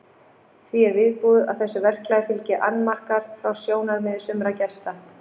Því er viðbúið að þessu verklagi fylgi annmarkar frá sjónarmiði sumra gesta.